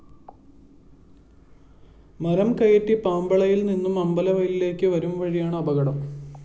മരം കയറ്റി പാമ്പളയില്‍ നിന്നും അമ്പലവയലിലേക്ക് വരുംവഴിയാണ് അപകടം